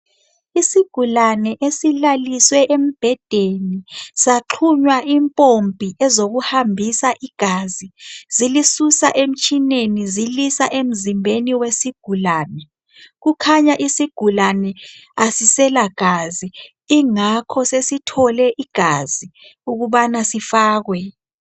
Isigulane esilaliswe embhedeni saxhunywa impompi ezokuhambisa igazi zilisusa emtshineni zilisa emzimbeni wesigulane kukhanya isigulane asisela gazi kungakho sesithole igazi ukubana sifakwe.